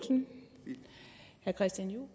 regering og